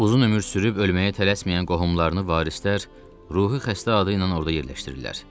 Uzun ömür sürüb ölməyə tələsməyən qohumlarını varislər ruhi xəstə adı ilə orada yerləşdirirlər.